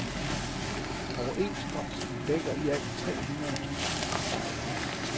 Overenskomsten dækker i alt tre hundrede tusind arbejdere.